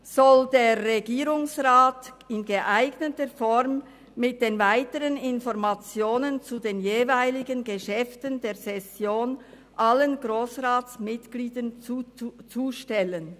[soll der Regierungsrat] in geeigneter Form mit den weiteren Informationen zu den jeweiligen Geschäften der Session allen Grossratsmitgliedern zustellen.